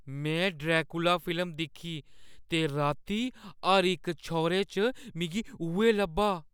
में Dracula film दिक्खी ते राती हर इक छौरे च मिगी उ'ऐ लब्भा।